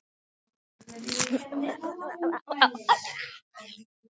Andrés Már Jóhannesson skrifaði um helgina undir tveggja ára samning við Fylki.